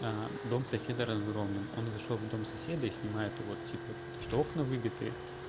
аа дом соседа разгромлен он зашёл в дом соседа и снимает вот типа что окна выбиты